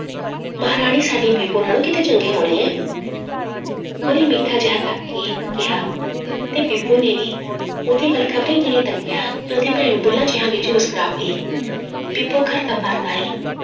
ਮਹਾਰਾਣੀ ਸਾਡੀ ਬੀਬੋ ਨਾਲੋਂ ਕਿਤੇ ਚੰਗੀ ਹੋਣੀ ਆਂ ਉਹਨੇ ਮਿੱਠਾ ਜਿਹਾ ਤੱਕ ਕੇ ਕਿਹਾ ਤੇ ਬੀਬੋ ਨੇ ਵੀ ਉਹਦੀ ਵੱਲ ਖ਼ਬਰੇ ਕਿਵੇਂ ਤੱਕਿਆ ਕਿ ਉਹਦੀ ਭੈਣ ਬੁਲਾਂ ਜਿਹਾਂ ਵਿੱਚ ਮੁਸਕਰਾ ਪਈ ਬੀਬੋ ਘਰ ਤਾਂ ਪਰਤ ਆਈ